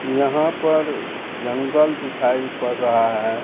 यहां पर जंगल दिखाई पड़ रहा है।